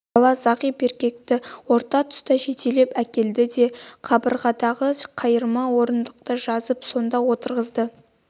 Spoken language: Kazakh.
бала зағип еркекті орта тұсқа жетелеп әкелді де қабырғадағы қайырма орындықты жазып сонда отырғызды